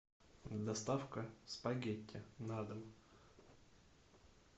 доставка спагетти на дом